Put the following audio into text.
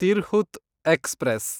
Tirhut express